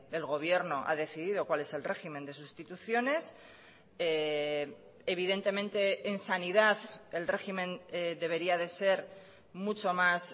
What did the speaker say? el gobierno ha decidido cuál es el régimen de sustituciones evidentemente en sanidad el régimen debería de ser mucho más